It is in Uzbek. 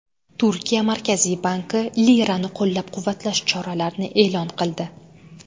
Turkiya Markaziy banki lirani qo‘llab-quvvatlash choralarini e’lon qildi.